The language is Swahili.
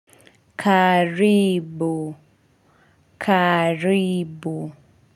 Karibu karibu.